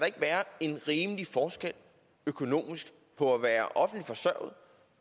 ikke være en rimelig forskel økonomisk på at være offentligt forsørget